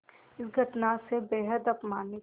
इस घटना से बेहद अपमानित